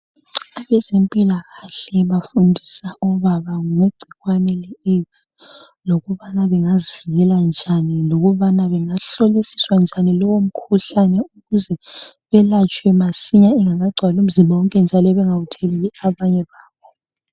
Abezempilakahle bafundisa obaba ngegcikwane le "AIDS" lokubana bengazivikela njani lokubana bengahlolisiswa njani lowo mkhuhlane ukuze belatshwe masinya ingakagcwali umzimba wonke njalo bengawutheleli abanye babo.